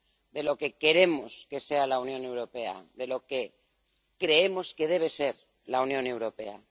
de lo que queremos que sea la Unión Europea, de lo que creemos que debe ser la Unión Europea.